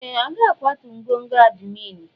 Ee! A ga-akwatu ngọngọ admin.